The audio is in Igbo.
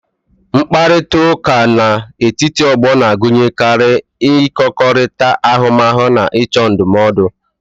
Mkparịta ụka dị n'etiti ndị ọgbọ na-agụnyekarị ịkọkọrịta ahụmahụ na ịchọ ndụmọdụ